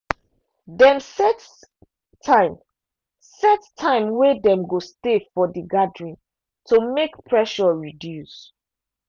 dem set time set time wey dem go stay for the gathering to make pressure reduce.